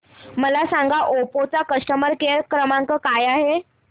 मला सांगा ओप्पो चा कस्टमर केअर क्रमांक काय आहे